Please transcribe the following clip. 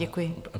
Děkuji.